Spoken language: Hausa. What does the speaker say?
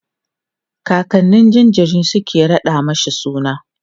kakannin jinjirin Suka raɗa mashi suna